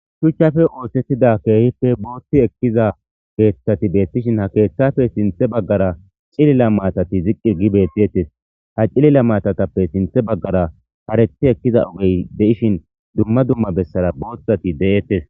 Shuchchafe oosettida keehippe boothti ekkiza keeththati beettishin ha keeththafe sinthe baggara cilila maatati ziqqi gi beettiettes ha cilila maatatappe sinthe baggara hareti ekkiza ogey de'ishin dumma dumma bessara booththati de'ettes.